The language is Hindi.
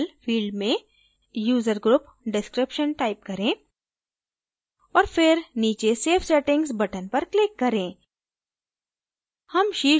label field में user group description type करें और फिर नीचे save settings button पर click करें